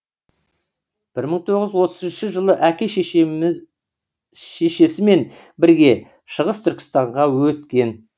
бір мың тоғыз жүз отыз үшінші жылы әке шешесімен бірге шығыс түркістанға өткен